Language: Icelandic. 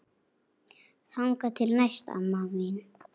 Þangað til næst, amma mín.